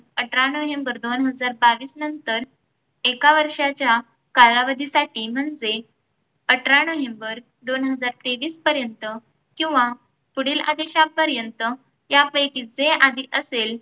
अठरा नोव्हेंबर दोन हजार बावीस नंतर एका वर्षाच्या कालावधीसाठी म्हणजे अठरा नोव्हेंबर दोन हजार तेवीस पर्यंत किव्हा पुढील आदेशापर्यंत त्यापैकी जे आधी असेल